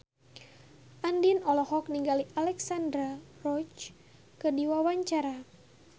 Andien olohok ningali Alexandra Roach keur diwawancara